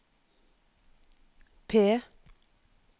P